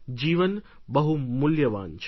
જીવન બહુ મૂલ્યવાન છે